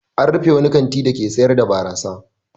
An rufe wani kanti dake sayar da barasa.